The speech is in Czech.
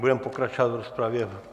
Budeme pokračovat v rozpravě.